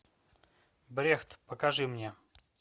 брехт покажи мне